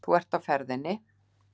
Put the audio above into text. Þú ert á ferðinni.